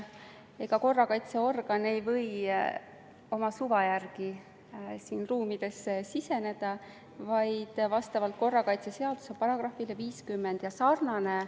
Ega korrakaitseorgan ei või oma suva järgi ruumidesse siseneda, vaid korrakaitseseaduse §-s 50 sätestatud tingimustel.